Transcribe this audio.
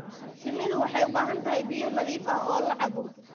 Shinnidu waxay u baahan tahay biyo nadiif ah oo la cabbo